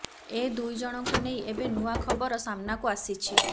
ଏ ଦୁଇଜଣଙ୍କୁ ନେଇ ଏବେ ନୂଆ ଖବର ସାମ୍ନାକୁ ଆସିଛି